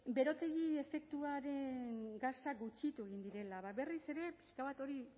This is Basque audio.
berotegi efektuko gasak gutxitu egin direla ba berriz ere pixka bat hori